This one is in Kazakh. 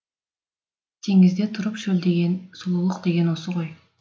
теңізде тұрып шөлдеген сұлулық деген осы ғой